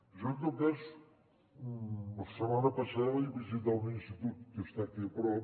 jo en tot cas la setmana passada vaig visitar un institut que està aquí a prop